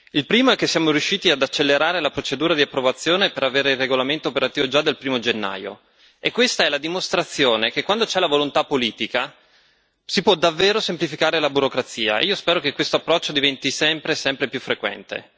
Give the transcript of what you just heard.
Il primo è che siamo riusciti ad accelerare la procedura di approvazione per avere il regolamento operativo già dal 1o gennaio, e questa è la dimostrazione che quando c'è la volontà politica si può davvero semplificare la burocrazia, e io spero che questo approccio diventi sempre più frequente.